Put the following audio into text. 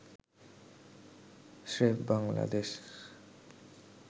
স্রেফ বাংলাদেশ